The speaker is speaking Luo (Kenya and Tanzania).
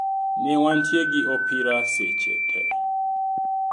Newantie gi opira seche te.